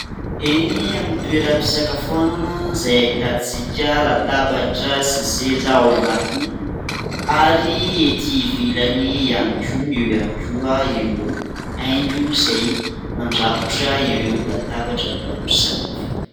Eny amin'ny toeram-pisakafoanana izay ahitantsika latabatra sy seza ao anatiny ary ety ivelany ihany koa ; eo ihany koa ireo haingo izay mandrakotra ireo latabatra maro samihafa.